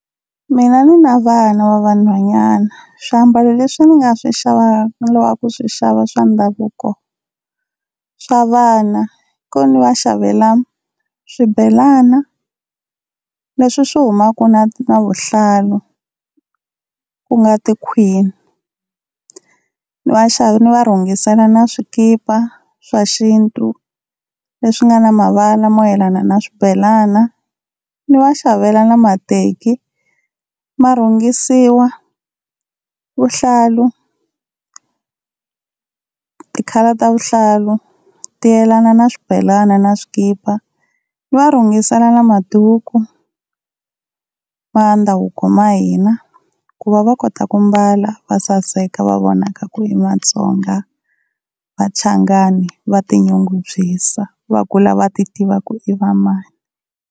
Mina ni na vana va vanhwanyani swiambalo leswi ni nga swi xavaka ni lavaka ku swi xava swa ndhavuko swa vana, i ku ni va xavela swibelana leswi swi humaka na na vuhlalu ku nga tikhwini, ni ni va rhungisela na swikipa swa xintu leswi nga na mavala mo yelana na swibelana. Ni va xavela na mateki ma rhungisiwa vuhlalu, ti-colour ta vuhlalu ti yelana na swibelana na swikipa ni va rhungisela na maduku ya ndhavuko ma hina, ku va va kota ku mbala va saseka va vonaka ku i Matsonga Vachangani va ti nyungubyisa va kula va tiva ku i va mani.